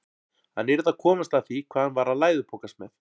Hann yrði að komast að því hvað hann var að læðupokast með.